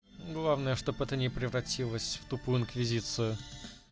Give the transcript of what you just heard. главное чтоб это не превратилась в тупую инквизицию